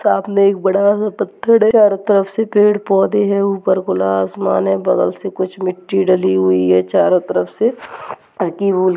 साथ में एक बड़ा सा पत्थर है चारो तरफ से पेड़ पौधे है ऊपर खुला आसमान है बगल से कुछ मिट्टी डली हुई है चारो तरफ से